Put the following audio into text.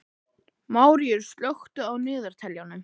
Maríus, slökktu á niðurteljaranum.